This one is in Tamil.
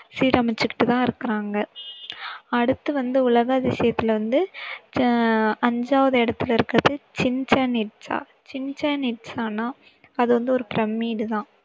சீரமைச்சுகிட்டு தான் இருக்காங்க. அடுத்து வந்து உலக அதிசயத்துல வந்து அஞ்சாவது இடத்துல இருக்குறது சிச்சென் இட்சா, சிச்சென் இட்சான்னா அது வந்து ஒரு பிரமிடு தான்.